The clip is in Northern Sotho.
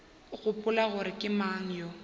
gopola gore ke mang yo